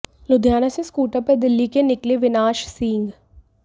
लुधियाना से स्कूटर पर दिल्ली के निकले विनाश सिंह